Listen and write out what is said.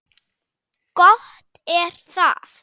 Gott er það.